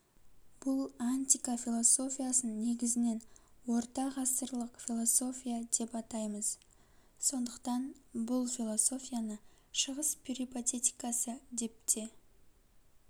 бұл антика философиясын негізінен орта ғасырлық философия деп атаймыз сондықтан бұл философияны шығыс перипатетикасы деп те